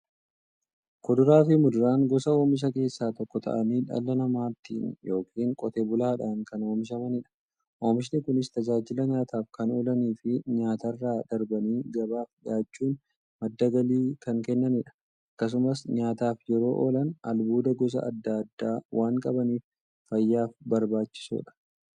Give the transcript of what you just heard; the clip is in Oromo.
Kuduraafi muduraan gosa oomishaa keessaa tokko ta'anii, dhala namaatin yookiin Qotee bulaadhan kan oomishamaniidha. Oomishni Kunis, tajaajila nyaataf kan oolaniifi nyaatarra darbanii gabaaf dhiyaachuun madda galii kan kennaniidha. Akkasumas nyaataf yeroo oolan, albuuda gosa adda addaa waan qabaniif, fayyaaf barbaachisoodha.